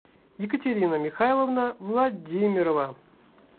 екатерина михайловна владимирова